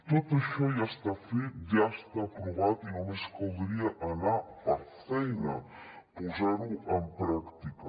tot això ja està fet ja està aprovat i només caldria anar per feina posar ho en pràctica